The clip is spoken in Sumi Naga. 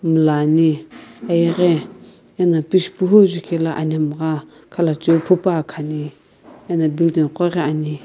mulani iyeghi ano pichiphu zukae lo anemgha khalacho phupane ane ano building koghi ame.